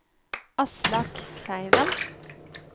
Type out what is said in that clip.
Aslak Kleiven